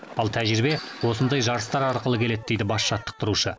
ал тәжірибе осындай жарыстар арқылы келеді дейді бас жаттықтырушы